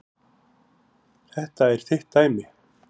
Þetta er þitt dæmi.